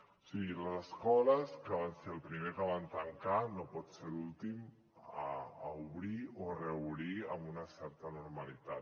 o sigui les escoles que van ser el primer que van tancar no pot ser l’últim a obrir o a reobrir amb una certa normalitat